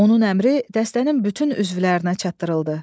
Onun əmri dəstənin bütün üzvlərinə çatdırıldı.